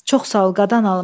Çox sağ ol, qadan alım.